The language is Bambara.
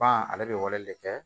Pan ale bɛ wale de kɛ